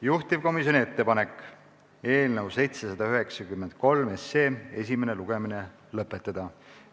Juhtivkomisjoni ettepanek on eelnõu 793 esimene lugemine lõpetada.